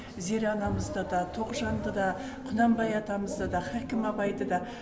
зере анамызда да тоғжанды да құнанбай атамызды да хакім абайды да